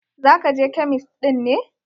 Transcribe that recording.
Za ka je kemist ɗin ne?